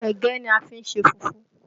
Ẹ̀gẹ́ ni a fi ṣe fùfú